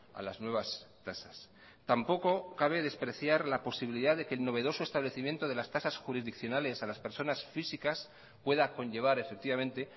a las nuevas tasas tampoco cabe despreciar la posibilidad de que el novedoso establecimiento de las tasas jurisdiccionales a las personas físicas pueda conllevar efectivamente